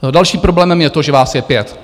Dalším problémem je to, že vás je pět.